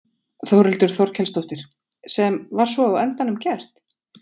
Þórhildur Þorkelsdóttir: Sem var svo á endanum gert?